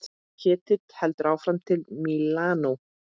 Ketill heldur áfram til Mílanó.